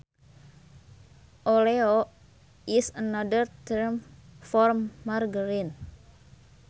Oleo is another term for margarine